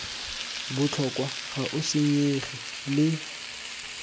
botlhokwa ga o senyege le